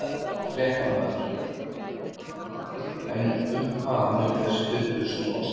Fréttamaður: En um hvað mun þessi fundur snúast?